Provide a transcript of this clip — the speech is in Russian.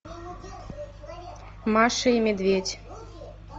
маша и медведь